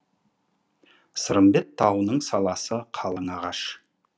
сырымбет тауының саласы қалың ағаш